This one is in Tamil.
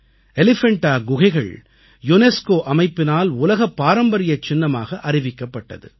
எலிஃபண்டா குகைகள் யுனெஸ்கோ அமைப்பினால் உலகப் பாரம்பரிய சின்னமாக அறிவிக்கப்பட்டது